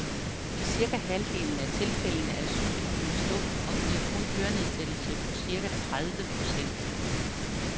I cirka halvdelen af tilfældene er sygdommen stum og giver kun hørenedsættelse på cirka tredive procent.